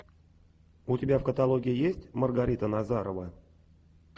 у тебя в каталоге есть маргарита назарова